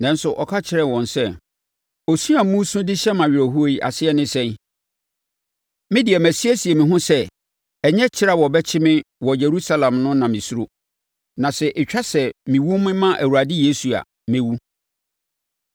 Nanso, ɔka kyerɛɛ wɔn sɛ, “Osu a moresu de hyɛ me awerɛhoɔ yi ase ne sɛn? Me de masiesie me ho sɛ ɛnyɛ kyekyere a wɔbɛkyekyere me wɔ Yerusalem no na mesuro, na sɛ ɛtwa sɛ mewu mema Awurade Yesu a, mɛwu.”